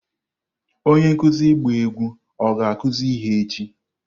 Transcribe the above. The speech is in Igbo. Onye nkuzi ịgba egwu ọ ga-akụzi ihe echi?